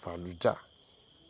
fallujah